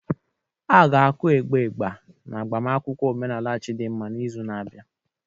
Aga-aku ịgbà Igba n'agbamakwụkwọ omenala Chidinma n'izu na-abịa.